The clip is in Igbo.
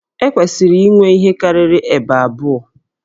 E kwesịrị inwe ihe karịrị ụdị Ébè abụọ